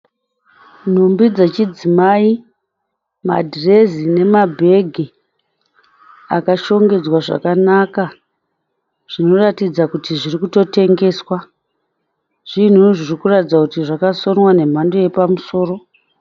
Nhumbi dzechidzimai, madhirezi nemabhegi akashongedzwa zvakanaka zvinotaridza kuti zviri kutotengeswa. Zvinhu zvinotaridza kuti zvakasonwa zvemhando yepamusoro.